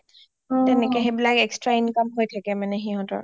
তেনেকে সেইবিলাক extra income হৈ থাকে মানে হিহতৰ